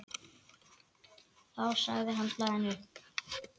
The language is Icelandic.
Þá sagði hann blaðinu upp.